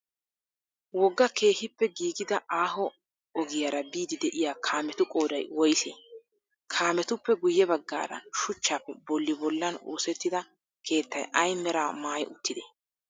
Wogga keehippe giigida aaho wogiyaara biiddi de'iyaa kaametu qooday woysee? Kaametuppe guyye baggaara shuchchappe bolli bollan oosettida keettay ay meraa maayi uttidee?